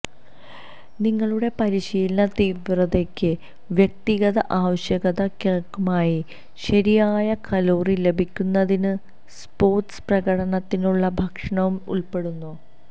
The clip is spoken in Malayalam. നിങ്ങളുടെ പരിശീലന തീവ്രതയ്ക്കും വ്യക്തിഗത ആവശ്യകതകൾക്കുമായി ശരിയായ കലോറി ലഭിക്കുന്നതിന് സ്പോർട്സ് പ്രകടനത്തിനുള്ള ഭക്ഷണവും ഉൾപ്പെടുന്നു